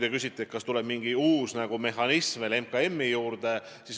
Te küsisite, kas tuleb mingi uus mehhanism veel MKM-i juurde.